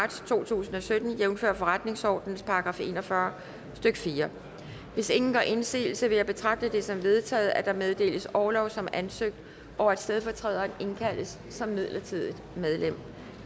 marts to tusind og sytten jævnfør forretningsordenens § en og fyrre stykke fjerde hvis ingen gør indsigelse vil jeg betragte det som vedtaget at der meddeles orlov som ansøgt og at stedfortræderne indkaldes som midlertidige medlemmer